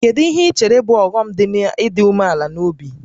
Kedu ihe i chere bụ ọghọm dị n'ịdị umeala n'obi?